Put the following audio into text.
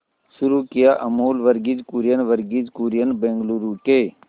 शुरू किया अमूल वर्गीज कुरियन वर्गीज कुरियन बंगलूरू के